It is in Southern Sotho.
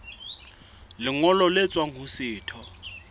lengolo le tswang ho setho